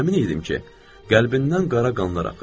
Əmin idim ki, qəlbindən qara qanlar axır.